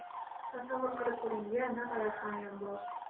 Tasavvur qilib ko‘ring-a, naqadar hamyonbop!